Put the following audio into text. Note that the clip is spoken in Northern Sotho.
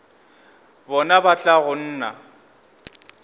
bona ba tla go nna